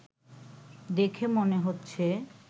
দেখে মনে হচ্ছে